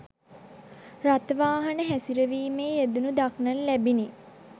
රථ වාහන හැසිරවීමේ යෙදෙනු දක්නට ලැබිණි.